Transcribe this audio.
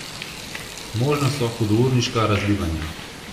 Možna so hudourniška razlivanja.